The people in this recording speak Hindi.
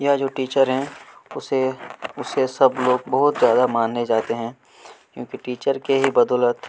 यह जो टीचर हैं उसे-- उसे सब लोग बहुत ज्यादा माने जाते हैं क्योंकि टीचर के ही बदौलत--